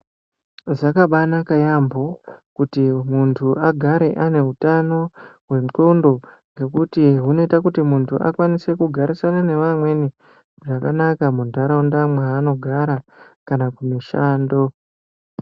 Zvakabanaka yaampo kuti muntu agare ane utano hwendxondo ngekuti hunoita kuti muntu akwanise kugarisana nevamweni zvakanaka muntaraunda mwaanogara kana kumushando.